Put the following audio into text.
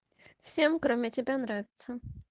всем кроме тебя нравится